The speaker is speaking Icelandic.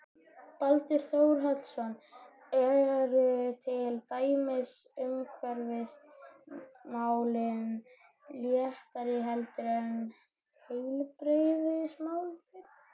Baldur Þórhallsson: Eru til dæmis umhverfismálin léttari heldur en heilbrigðismálin?